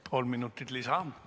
Kolm minutit lisa.